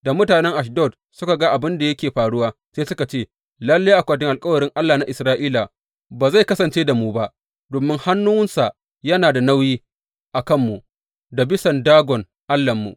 Da mutanen Ashdod suka ga abin da yake faruwa, sai suka ce, Lalle Akwatin Alkawarin Allah na Isra’ila ba zai kasance da mu ba, domin hannunsa yana da nauyi a kanmu da bisan Dagon allahnmu.